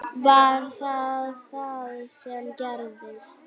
Var það það sem gerðist?